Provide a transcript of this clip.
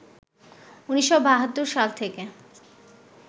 ১৯৭২ সাল থেকে